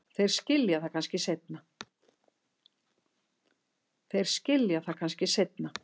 Þeir skilja það kannski seinna.